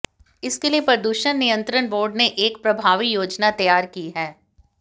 इसके लिए प्रदूषण नियंत्रण बोर्ड ने एक प्रभावी योजना तैयार की है